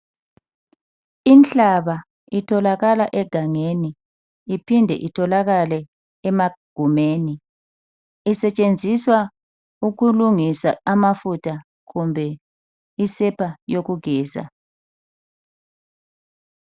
Inhlaba itholakala egangeni iphinde itholakale emagumeni. Isetshenziswa ukulungisa mafutha kumbe isepa yokugeza.